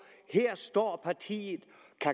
at her står partiet